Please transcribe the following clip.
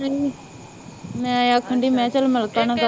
ਮੈ ਆਖਣ ਢਹੇ ਮੈ